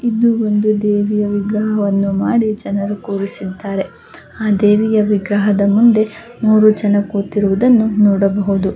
ಇದು ಒಂದು ದೇವಿಯ ವಿಗ್ರಹ ಮಾಡಿ ಜನರು ಕೂರಿಸಿದ್ದಾರೆ. ಆ ದೇವಿಯ ವಿಗ್ರಹದ ಮುಂದೆ ಮೂರೂ ಜನರು ಕೂತಿರುವದನ್ನು ನೋಡಬಹುದು.